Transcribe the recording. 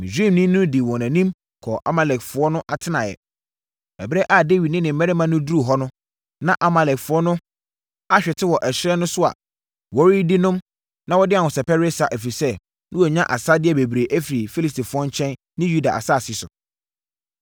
Na Misraimni no dii wɔn anim kɔɔ Amalekfoɔ no atenaeɛ. Ɛberɛ a Dawid ne ne mmarima no duruu hɔ no, na Amalekfoɔ no ahwete wɔ ɛserɛ no so a wɔredidi nom na wɔde ahosɛpɛ resa, ɛfiri sɛ, na wɔanya asadeɛ bebree afiri Filistifoɔ nkyɛn ne Yuda asase so.